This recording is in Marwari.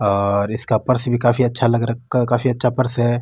और इसका पर्स भी काफी अच्छा लग रखा काफ़ी अच्छा पर्स है।